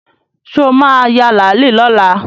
Sọ ma ya làálí lọ́la?